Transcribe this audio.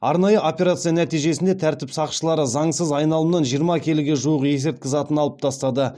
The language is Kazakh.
арнайы операция нәтижесінде тәртіп сақшылары заңсыз айналымнан жиырма келіге жуық есірткі затын алып тастады